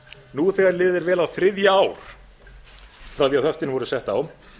nú þegar liðið er vel á þriðja ár frá því höftin voru sett á